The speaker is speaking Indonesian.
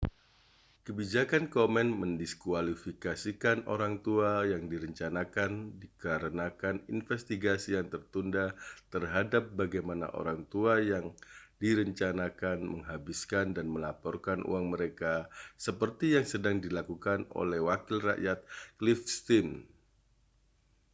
kebijakan komen mendiskualifikasikan orang tua yang direncanakan dikarenakan investigasi yang tertunda terhadap bagaimana orang tua yang direncanakan menghabiskan dan melaporkan uang mereka seperti yang sedang dilakukan oleh wakil rakyat cliff stearns